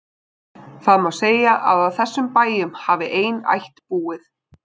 Það má segja að á þessum bæjum hafi ein ætt búið.